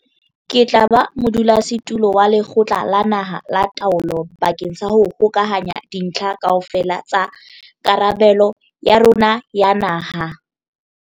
Ke tla ba modulasetulo wa Lekgotla la Naha la Taolo bakeng sa ho hokahanya dintlha kaofela tsa karabelo ya rona ya naha.